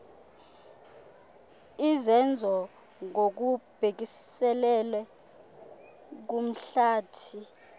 izenzo ngokubhekiselele kumhlathi